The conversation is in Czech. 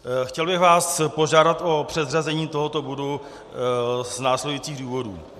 Chtěl bych vás požádat o předřazení tohoto bodu z následujících důvodů.